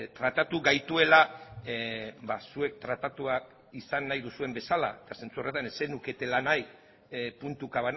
tratatu gaituela zuek tratatuak izan nahi duzuen bezala eta zentzu horretan ez zenuketela nahi puntuka